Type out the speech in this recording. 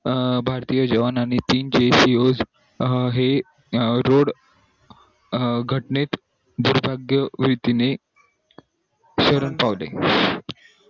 अं भारतीय जवानांनी हे रोड घटनेत दुर्भग्य रीतीने शरण पावले